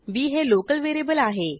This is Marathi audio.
बी हे लोकल व्हेरिएबल आहे